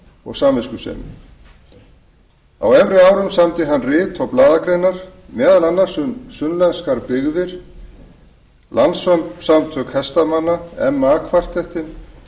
og samviskusemi á efri árum samdi hann rit og blaðagreinar meðal annars um sunnlenskar byggðir landssamtök hestamanna meðal annars kvartettinn